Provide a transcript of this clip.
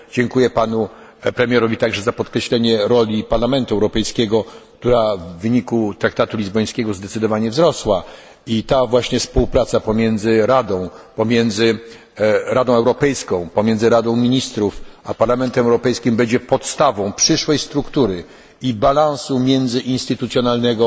Dziękuję panu premierowi także za podkreślenie roli Parlamentu Europejskiego, która w wyniku traktatu lizbońskiego zdecydowanie wzrosła i ta właśnie współpraca pomiędzy Radą Europejską, Radą Ministrów a Parlamentem Europejskim będzie podstawą przyszłej struktury i balansu międzyinstytucjonalnego